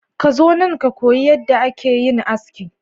Ka zo nan ka koyi yadda ake yin aski.